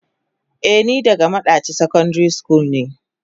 Eh ni daga madaci secondary school ne.